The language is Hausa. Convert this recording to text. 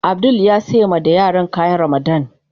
Abdul ya sayi ma yaran da kayan Ramadan.